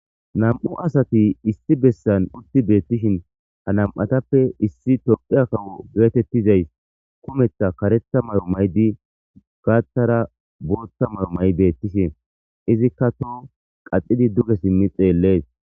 nam7u asati issi bessan utti beettishin ha nam7atappe issi tophea kawo geetettizays kumetha karetha mayo maydi gaathara boota mayo may7 beettishin izikka to qaxidi duge simmi xeellees